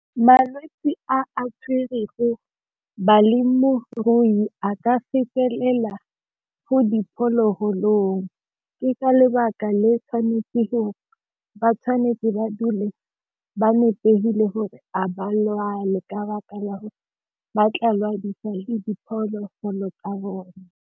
Malwetsi a a tshwere go balemirui a ka fetelela mo diphologolong ke ka lebaka le tshwanetse ba tshwanetse ba dule ba nepile gore a ba lwale ka baka la gore ba ke diphologolo ka bone.